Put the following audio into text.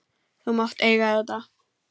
Þú mátt eiga þetta.